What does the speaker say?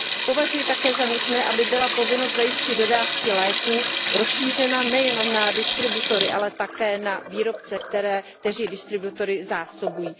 Považuji také za nutné, aby byla povinnost zajistit dodávky léků rozšířena nejenom na distributory, ale také na výrobce, kteří distributory zásobují.